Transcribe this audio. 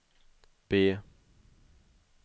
B